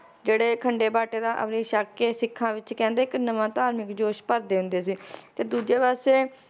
ਜਿਹੜੇ ਖੰਡੇ-ਬਾਟੇ ਦਾ ਅੰਮ੍ਰਿਤ ਛੱਕ ਕੇ ਸਿੱਖਾਂ ਵਿਚ ਕਹਿੰਦੇ ਇੱਕ ਨਵਾਂ ਧਾਰਮਿਕ ਜੋਸ਼ ਭਰ ਦਿੰਦੇ ਸੀ ਤੇ ਦੂਜੇ ਪਾਸੇ